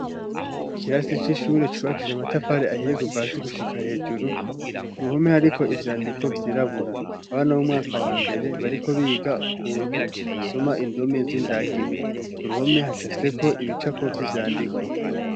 Ikirasi c'ishure cubakishije amatafari ahiye kuva hasi gushika hejuru, ku ruhome hariko ivyandiko vyirabura. Abana b'umwaka wa mbere bariko biga ukuntu basoma indome z'indagi. Ku ruhome hacafyeko ibicapo vy'ivyandiko.